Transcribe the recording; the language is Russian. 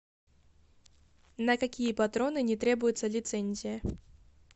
на какие патроны не требуется лицензия